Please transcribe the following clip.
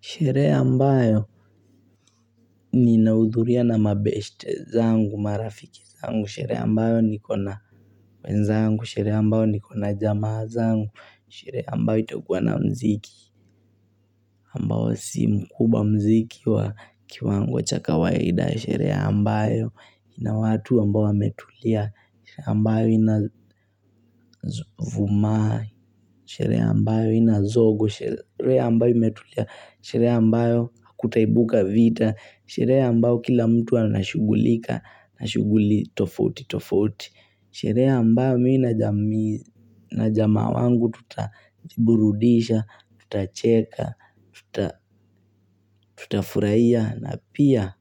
Sherehe ambayo ninaudhuria na mabeste zangu, marafiki zangu, sherehe ambayo nikona wenzangu, sherehe ambayo nikona jamaa zangu, sherehe ambayo itokuwa na mziki, ambayo si mkubwa mziki wa kiwango chaka kawaida. Sherehe ambayo ina watu ambayo wametulia. Sherehe ambayo ina vuma. Sherehe ambayo ina zogo. Sherehe ambayo imetulia. Sherehe ambayo kutaibuka vita. Sherehe ambayo kila mtu anashughlika nashughuli tofauti tofauti. Sherehe ambayo mii na jamaa wangu tutajiburudisha tutacheka, tutafurahiya na pia